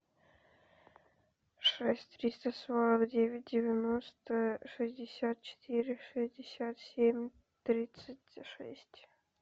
шесть триста сорок девять девяносто шестьдесят четыре шестьдесят семь тридцать шесть